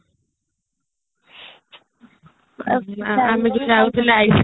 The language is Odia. ଆମେ ଯୋଉ ଯାଉଥିଲେ ice cream